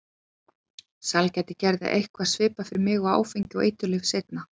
Sælgæti gerði eitthvað svipað fyrir mig og áfengi og eiturlyf seinna.